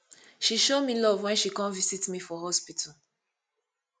she show me love wen she come visit me for hospital